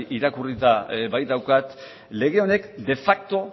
irakurrita baitaukat lege honek de facto